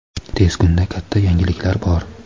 Tez kunda katta yangiliklar bor.